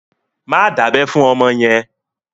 Má dábẹ́ fún ọmọ yẹn!